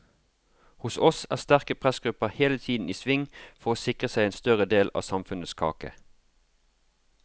Hos oss er sterke pressgrupper hele tiden i sving for å sikre seg en større del av samfunnets kake.